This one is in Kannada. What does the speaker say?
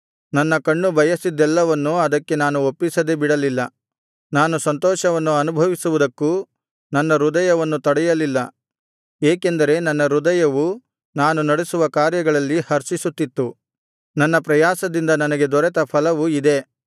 ನನ್ನ ಕಣ್ಣು ಬಯಸಿದ್ದೆಲ್ಲವನ್ನು ಅದಕ್ಕೆ ನಾನು ಒಪ್ಪಿಸದೆ ಬಿಡಲಿಲ್ಲ ಯಾವ ಸಂತೋಷವನ್ನು ಅನುಭವಿಸುವುದಕ್ಕೂ ನನ್ನ ಹೃದಯವನ್ನು ತಡೆಯಲಿಲ್ಲ ಏಕೆಂದರೆ ನನ್ನ ಹೃದಯವು ನಾನು ನಡಿಸುವ ಕಾರ್ಯಗಳಲ್ಲಿ ಹರ್ಷಿಸುತ್ತಿತ್ತು ನನ್ನ ಪ್ರಯಾಸದಿಂದ ನನಗೆ ದೊರೆತ ಫಲವು ಇದೆ